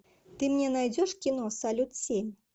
ты мне найдешь кино салют семь